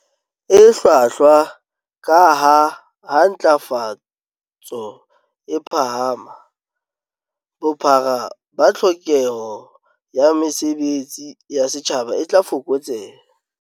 E hlwahlwa, kaha ha ntlafatso e phahama, bophara ba tlhokeho ya mesebe tsi ya setjhaba e tla fokotseha.